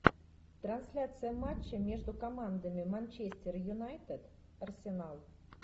трансляция матча между командами манчестер юнайтед арсенал